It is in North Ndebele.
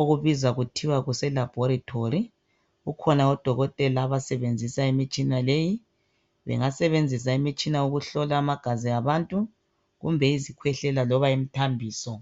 okubizwa okuthiwa kuselabholitholi. Kukhona odokotela abasebenzisa imitshina leyi. Bengasebenzisa imitshina ukuhlola amagazi abantu kumbe ngezikwehlela loba imithambiso.